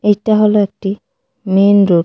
এটা হল একটি মেইন রোড .